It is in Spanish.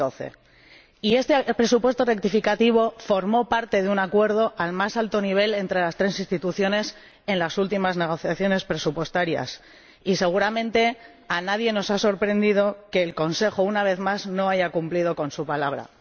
2012. Este presupuesto rectificativo formó parte de un acuerdo al más alto nivel entre las tres Instituciones en las últimas negociaciones presupuestarias y seguramente a nadie nos ha sorprendido que el Consejo, una vez más, no haya cumplido con su palabra.